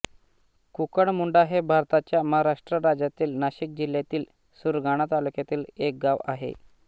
कुकुडमुंडा हे भारताच्या महाराष्ट्र राज्यातील नाशिक जिल्ह्यातील सुरगाणा तालुक्यातील एक गाव आहे